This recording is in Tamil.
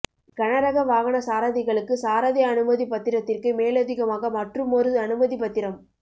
கனரக வாகன சாரதிகளுக்கு சாரதி அனுமதிப் பத்திரத்திற்கு மேலதிகமாக மற்றுமொரு அனுமதிப் பத்திரம்